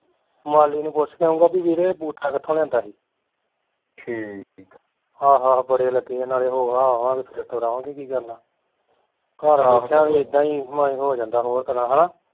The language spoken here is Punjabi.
ਮਾਲੀ ਨੂੰ ਪੁੱਛ ਕੇ ਆਉਂਗਾ ਵੀ ਵੀਰੇ ਇਹ ਬੂਟਾ ਕਿਥੋਂ ਲਿਆਂਦਾ ਸੀ ਆਹੋ ਆਹੋ ਬੜੇ ਲੱਗੇ ਆ ਨਾਲੇ ਹੋ ਹਾ ਆਵਾਂਗੇ ਫਿਰ ਤੁਰ ਆਵਾਂਗੇ ਹੋਰ ਕੀ ਕਰਨਾ ਘਰ ਆ ਕੇ ਮਨ ਏਦਾਂ ਈ ਹੋ ਜਾਂਦਾ ਹੋਰ ਤਰਾਂ ਹੈਨਾ